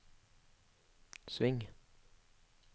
sving